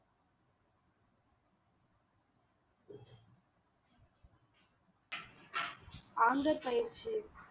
anther பயிற்சி